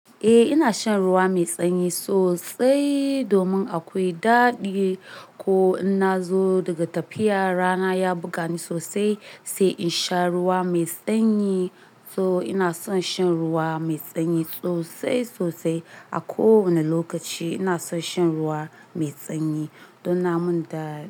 Eh ina shan ruwa mai sanyi sosai domin akwai daɗi ko in na zo daga tafiya rana ya buga ni sosai, sai in sha ruwa mai sanyi. To ina son shan ruwa mai sanyi sosai sosai. A kowane lokaci ina son shan ruwa mai sanyi don na mun da.